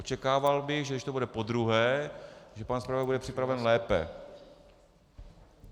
Očekával bych, že když to bude podruhé, že pan zpravodaj bude připraven lépe.